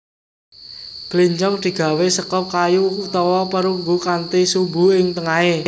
Bléncong digawé seka kayu utawa perunggu kanthi sumbu ing tengahé